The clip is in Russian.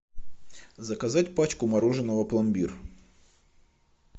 заказать пачку мороженого пломбир